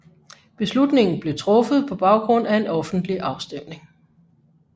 Beslutningen blev truffet på baggrund af en offentlig afstemning